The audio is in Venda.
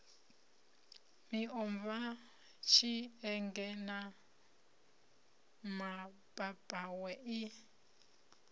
miomva tshienge na mapapawe i